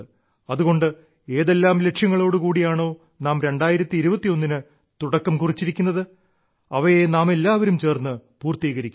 അതുകൊണ്ട് ഏതെല്ലാം ലക്ഷ്യങ്ങളോട് കൂടിയാണോ നാം 2021 ന് തുടക്കം കുറിച്ചിരിക്കുന്നത് അവയെ നാമെല്ലാവരും ചേർന്ന് പൂർത്തീകരിക്കും